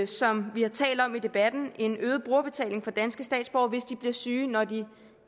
som vi har talt om i debatten en øget brugerbetaling for danske statsborgere hvis de bliver syge når de